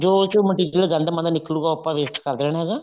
ਜੋ ਉਹਦੇ ਚੋਂ material ਗੰਦ ਮੰਦ ਨਿਕਲੁਗਾ ਉਹ ਆਪਾਂ waste ਕੇ ਦੇਣਾ ਹੈਗਾ